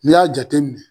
N'i y'a jateminɛ